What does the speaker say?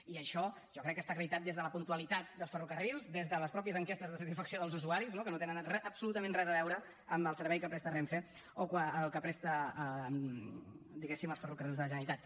i això jo crec que està acreditat des de la puntualitat dels ferrocarrils des de les mateixes enquestes de satisfacció dels usuaris no que no tenen re absolutament res a veure quan el servei que presta renfe o quan el presta diguéssim els ferrocarrils de la generalitat